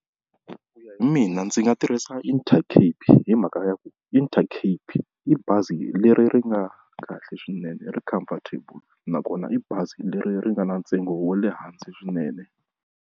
Ku ya hi mina ndzi nga tirhisa Intercape hi mhaka ya ku Intercape i bazi leri ri nga kahle swinene ri comfortable, nakona i bazi leri ri nga na ntsengo wa le hansi swinene.